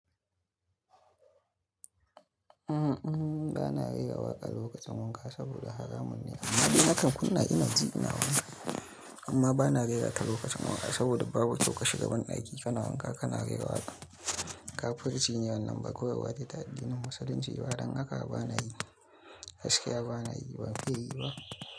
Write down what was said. Uhm, ba na rera waƙa lokacin wanka saboda haramun ne. Amma dai nakan kunna ina ji ina wanka. Amma ba na rera ta lokacin wanka saboda babu kyau ka shiga ban daki kana wanka kana rera waƙa. Kafurci ne wannan ba koyarwa ce ta addinin Musulunci ba. Fadan haka ba na yi. Gaskiya ba na yi, ban fiye yi ba.